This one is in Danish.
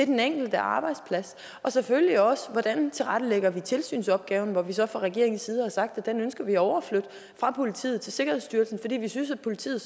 den enkelte arbejdsplads det selvfølgelig også om hvordan vi tilrettelægger tilsynsopgaven hvor vi så fra regeringens side har sagt at den ønsker vi at overflytte fra politiet til sikkerhedsstyrelsen fordi vi synes at politiet